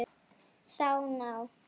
Sá ná